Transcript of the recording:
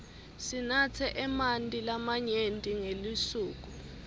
sinatse emanti lamanyenti ngelisuku